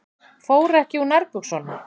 Fór ekki úr nærbuxunum.